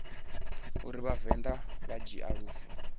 uri vhavenḓa vha dzhia lufu